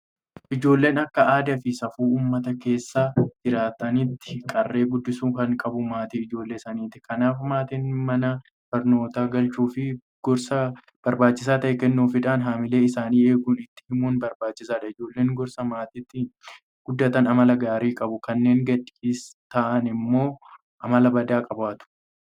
Ijoollee akka aadaafi safuu uummata keessa jiraataniitti qaree guddisuu kan qabu maatii ijoollee sanaati. Kanaaf maatiin mana barnootaa galchuufi gorsa barbaachisaa ta'e kennuufiidhaan haamilee isaanii eegaa itti himuun barbaachisaadha. Ijoolleen gorsa maatiitiin guddatan amala gaarii qabu. Kanneen gadhiisii ta'an immoo amala badaa qabaatu.